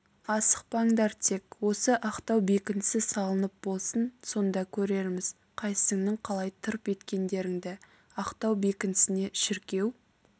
асықпаңдар тек осы ақтау бекінісі салынып болсын сонда көрерміз қайсыңның қалай тырп еткендеріңді ақтау бекінісіне шіркеу